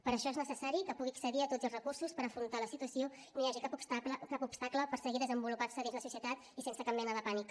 per això és necessari que pugui accedir a tots els recursos per afrontar la situació i no hi hagi cap obstacle per seguir desenvolupant se dins la societat i sense cap mena de pànic